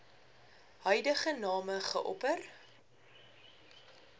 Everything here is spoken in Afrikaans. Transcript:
huidige name geopper